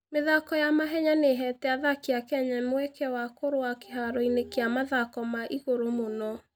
mĩthako ya mahenya nĩ ĩheete athaki a Kenya mweke wa kũrũa kĩharo-inĩ kĩa mathako ma igũrũ mũno.